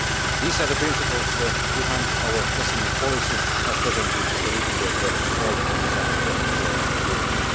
These are the principles behind our SME policy as presented in the review of the Small Business Act for Europe.